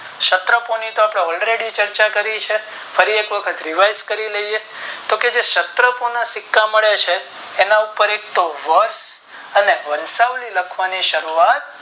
કરી છે ફરી એક વખત Revise કરી લએ તો કે સત્રકોના સિક્કા મળે છે તેના ઉપર એક તો વધ અને વર્ષ નું લખવાનું ચાલુ થાય જાય છે.